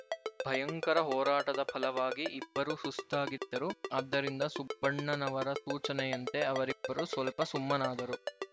ಭಯಂಕರ ಹೋರಾಟದ ಫಲವಾಗಿ ಇಬ್ಬರೂ ಸುಸ್ತಾಗಿದ್ದರು ಆದ್ದರಿಂದ ಸುಬ್ಬಣ್ಣನವರ ಸೂಚನೆಯಂತೆ ಅವರಿಬ್ಬರೂ ಸ್ವಲ್ಪ ಸುಮ್ಮನಾದರು